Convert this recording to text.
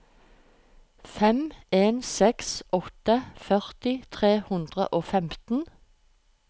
fem en seks åtte førti tre hundre og femten